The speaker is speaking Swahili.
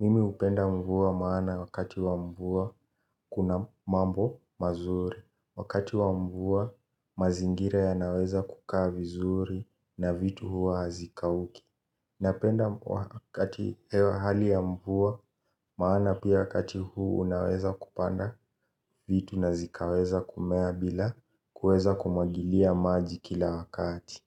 Mimi hupenda mvua maana wakati wa mvua kuna mambo mazuri. Wakati wa mvua mazingira yanaweza kukaa vizuri na vitu huwa hazikauki. Napenda wakati hewa hali ya mvua maana pia wakati huu unaweza kupanda vitu na zikaweza kumea bila kuweza kumwagilia maji kila wakati.